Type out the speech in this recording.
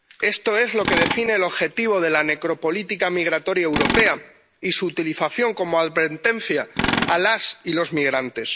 Esto es lo que define el objetivo de la necropolítica migratoria europea y su utilización como advertencia a las y los migrantes.